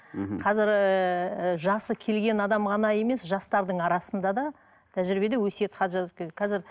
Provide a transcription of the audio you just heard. мхм қазір ыыы жасы келген адам ғана емес жастардың арасында да тәжірибеде өсиет хат жазып келеді қазір